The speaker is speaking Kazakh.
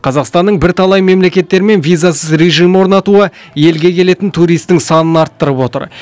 қазақстанның бірталай мемлекеттермен визасыз режим орнатуы елге келетін туристің санын арттырып отыр